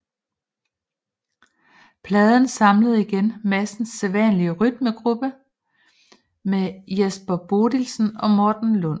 Pladen samlede igen Madsens sædvanlige rytmegruppe med Jesper Bodilsen og Morten Lund